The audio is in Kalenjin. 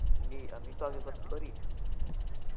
Mi amitwogik kot orit